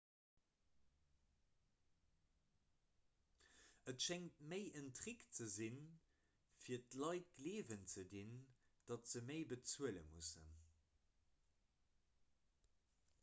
et schéngt méi en trick ze sinn fir d'leit gleewen ze dinn datt se méi bezuele mussen